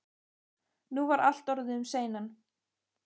Nú var allt orðið um seinan.